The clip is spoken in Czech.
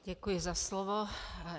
Děkuji za slovo.